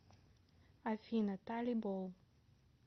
афина талибол